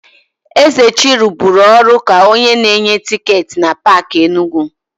Ezechi rụburu ọrụ ka onye na-enye tịketị na Paakị Enugu.